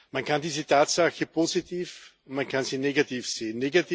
Man kann diese Tatsache positiv oder man kann sie negativ sehen.